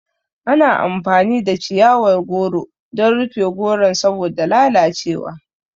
Ana amfani da chiyawar goro dan rufe goron saboda lalace wa